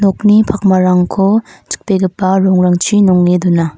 nokni pakmarangko chikbegipa rongrangchi nonge dona.